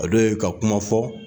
A dun ye ka kuma fɔ